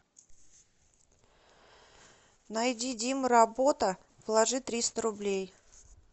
найди дима работа положи триста рублей